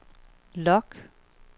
log